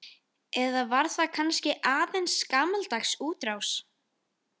Eða var það kannski aðeins gamaldags útrás?